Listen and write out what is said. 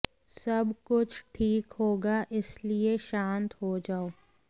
सब कुछ ठीक होगा इसलिए शांत हो जाओ